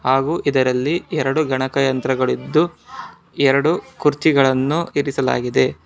ಹಾಗೂ ಇದರಲ್ಲಿ ಎರಡು ಗಣಕಯಂತ್ರಗಳಿದ್ದು ಎರಡು ಕುರ್ಚಿ ಗಳನ್ನು ಇರಿಸಲಾಗಿದೆ.